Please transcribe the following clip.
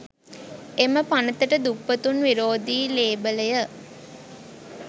එම පනතට දුප්පතුන් විරෝධී ලේබලය